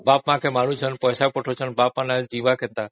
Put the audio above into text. ବାପା ମାଙ୍କୁ ମାନୁଛନ୍ତି ପଇସା ପଠାଉଛନ୍ତି